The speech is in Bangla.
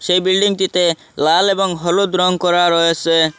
সেই বিল্ডিংটিতে লাল এবং হলুদ রং করা রয়েসে।